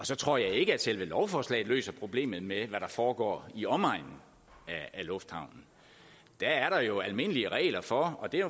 så tror jeg ikke at selve lovforslaget løser problemet med hvad der foregår i omegnen af lufthavnen der er der jo almindelige regler for og det er